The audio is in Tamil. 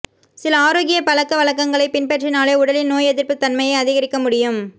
சில ஆரோக்கிய பழக்கவழக்கங்களைப் பின்பற்றினாலே உடலின் நோய் எதிர்ப்புத் தன்மையை அதிகரிக்க முடியும்